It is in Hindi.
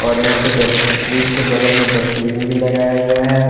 और यहाँ पे डस्ट -फ्रिज के बगल में डस्टबिन भी लगाया गया है।